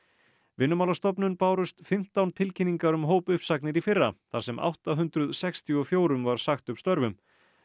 Vinnumálastofnun bárust fimmtán tilkynningar um hópuppsagnir í fyrra þar sem átta hundruð sextíu og fjögur var sagt upp störfum